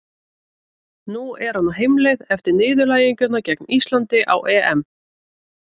Nú er hann á heimleið eftir niðurlæginguna gegn Íslandi á EM.